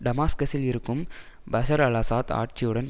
டமாஸ்கசில் இருக்கும் Bashar al Assad ஆட்சியுடன்